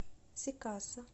сикасо